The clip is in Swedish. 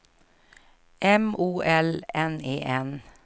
M O L N E N